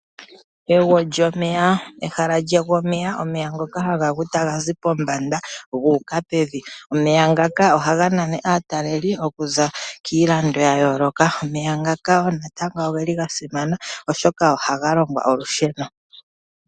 Egwo lyomeya, ehala lyegw' omeya omeya ngoka haga gu taga zi pombanda guuka pevi. Omeya ngaka ohaga nana aataleli okuza kiilando yayooloka, omeya ngaka natango ogeli gasimana oshoka ohaga longwa olusheno.